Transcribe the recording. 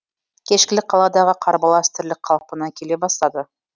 кешкілік қаладағы қарбалас тірлік қалпына келе бастады